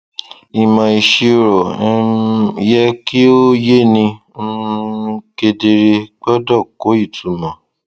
ìmọ ìṣirò um yẹ kí ó yé ni um kedere gbọdọ kó ìtumọ